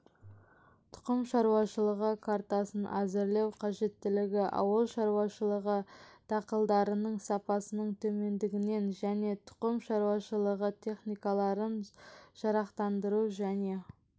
тұқым шаруашылығы картасын әзірлеу қажеттілігі ауыл шаруашылығы дақылдарының сапасының төмендігінен және тұқым шаруашылығы техникаларын жарақтандыру және